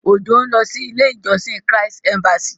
Òjó ń lọ sí ilé ìjósìn Christ embassy.